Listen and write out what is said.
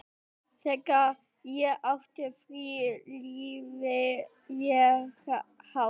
Þegar ég átti frí lifði ég hátt.